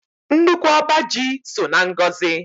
Nnukwu ọba ji so na ngọzị